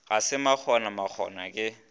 ga se makgona makgona ke